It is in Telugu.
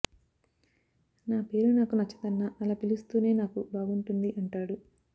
ఆ పేరు నాకు నచ్చదన్నా అలా పిలుస్తేనే నాకు బాగుంటుంది అంటాడు